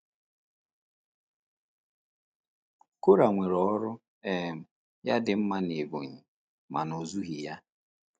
Korah nwere ọrụ um ya dị mma n’Ebonyi, mana ọ ezughị ya.